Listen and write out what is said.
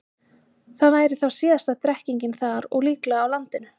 Það væri þá síðasta drekkingin þar og líklega á landinu.